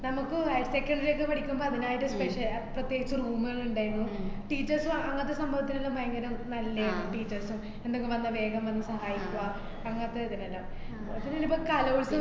നമുക്കും higher secondary ക്കെ പഠിക്കുമ്പോ അതിനായിട്ടൊരു specia~ ആഹ് പ്രത്യേകിച്ച് room അ് ഇണ്ടായേന്നു. teachers ഉം അങ്ങ~ അങ്ങനത്തെ സംഭവത്തിനൊക്കെ ഭയങ്കരം നല്ലേരുന്നു. teachers ഉം എന്തൊക്കെ വന്നാ വേഗം വന്ന് സഹായിക്കുവ അങ്ങനത്തെ ഇതൊക്കെണ്ടാവും. പിന്നെ ഇനിയിപ്പൊ കലോല്‍സവ